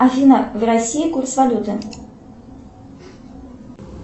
афина в россии курс валюты